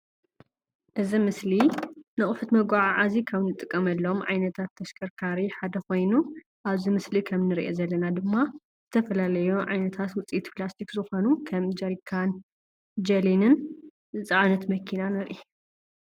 እዚ ምስሊ ን ኣቁሑት መጉዓዝያ ካብ ንጥቀመሎም ዓይነታት ተሽከርካሪ ሓደ ኾይኑ ፣ኣብዚ ምስሊ ከም ንሪኦ ዘለና ድማ ዝተፈላለዩ ዓይነታት ውፂኢት ፕላስቲክ ዝኾኑ ከም ጀሪካን ጀሊንን ዝፅዓነት መኪን ንርኢ።